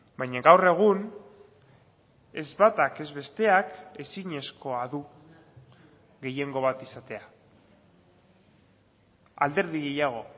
baina gaur egun ez batak ez besteak ezinezkoa du gehiengo bat izatea alderdi gehiago